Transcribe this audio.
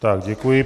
Tak děkuji.